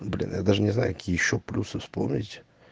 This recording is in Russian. блин я даже не знаю какие ещё плюс вспомнить